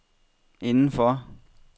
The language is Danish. indenfor